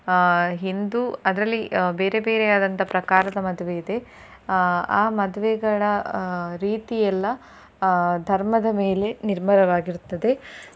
ಆ ಹಿಂದೂ ಅದರಲ್ಲಿ ಬೇರೆ ಬೇರೆ ಆದಂತಹ ಪ್ರಕಾರದ ಮದುವೆ ಇದೆ ಆ ಆ ಮದುವೆಗಳ ರೀತಿಯಲ್ಲ ಆ ಧರ್ಮದ ಮೇಲೆ ನಿರ್ಮಲವಾಗಿರುತ್ತದೆ.